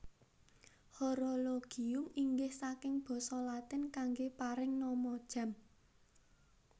Horologium inggih saking basa Latin kanggé paring nama jam